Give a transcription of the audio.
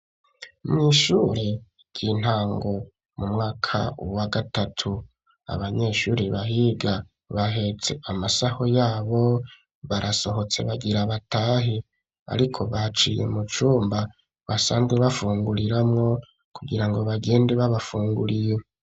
Mw'ishure ry'intango mu mwaka wa gatatu abanyeshure bahiga bahetse amasaho yabo barasohotse bagira batahe ariko baciye mucumba basanzwe bafunguriramwo kugirango bagende babafunguriye.